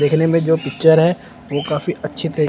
देखने में जो पिक्चर है वो काफी अच्छी--